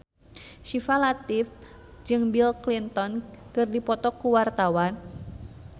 Syifa Latief jeung Bill Clinton keur dipoto ku wartawan